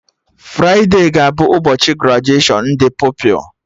Fride ga-abụ ụbọchị grajuashọn ndị Pupilụ